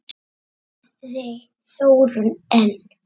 spurði Þórunn enn.